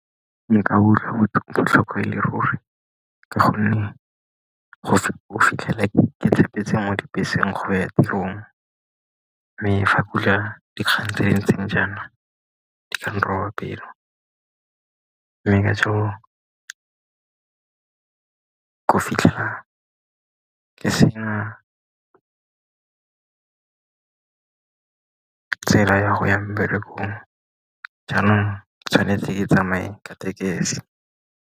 Nka utlwa botlhokwa e le ruri, ka gonne go fitlhela tshepetse mo dibeseng go ya tirong. Mme fa ke utlwa dikgang tse di ntseng jaana go ka nroba pelo mme ka jalo ke fitlhela ka sena tsela ya go ya mmerekong, jaanong tshwanetse ke tsamaye ka tekesi.